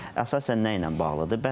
Bu əsasən nə ilə bağlıdır?